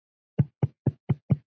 Hvað lærði ég á árinu?